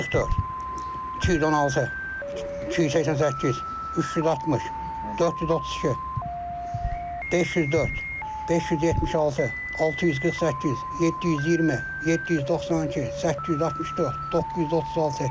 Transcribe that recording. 144, 216, 288, 360, 432, 504, 576, 648, 720, 792, 864, 936.